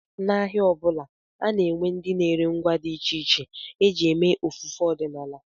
N'ahịa ọ bụla, a na-enwe ndị na-ere ngwa dị iche iche e ji eme ofufe ọdịnala